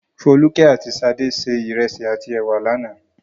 Folúkẹ́ àti Ṣadé se ìrẹsì àti ẹ̀wà lánàá.